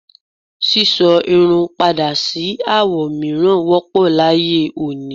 sísọ irun padà sí àwo mìíràn wọ́pọ̀ láyé òní.